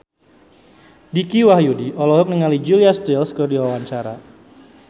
Dicky Wahyudi olohok ningali Julia Stiles keur diwawancara